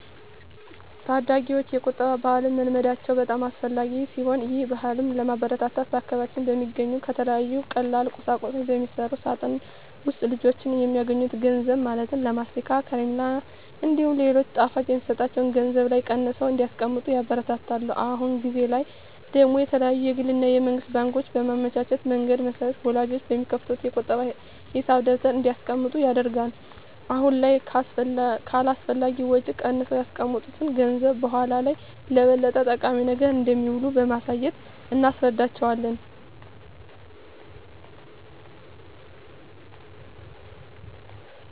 ታዳጊወች የቁጠባ ባህልን መልመዳቸው በጣም አስፈላጊ ሲሆን ይህን ባህልም ለማበረታታት በአካባቢያችን በሚገኙ ከተለያዩ ቀላል ቁሳቁሶች በሚሰራ ሳጥን ውስጥ ልጆች የሚያገኙትን ገንዘብ ማለትም ለማስቲካ፣ ከረሜላ እንዲሁም ሌሎች ጣፋጮች የሚሰጣቸው ገንዘብ ላይ ቀንሰው እንዲያስቀምጡ ይበረታታሉ። አሁን ጊዜ ላይ ደግሞ የተለያዩ የግል እና የመንግስት ባንኮች ባመቻቹት መንገድ መሰረት ወላጆች በሚከፍቱት የቁጠባ ሂሳብ ደብተር እንዲያስቀምጡ ይደረጋል። አሁን ላይ ከአላስፈላጊ ወጪ ቀንሰው ያስቀመጡት ገንዘብ በኃላ ላይ ለበለጠ ጠቃሚ ነገር እንደሚውል በማሳየት እናስረዳቸዋለን።